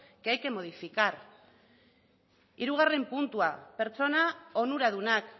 que hay que modificar hirugarren puntua pertsona onuradunak